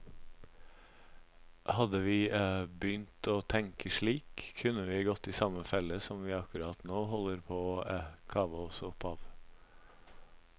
Hadde vi begynt å tenke slik, kunne vi ha gått i samme felle som vi akkurat nå holder på å kave oss opp av.